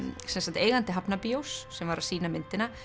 eigandi sem var að sýna myndina